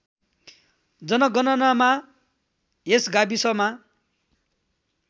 जनगणनामा यस गाविसमा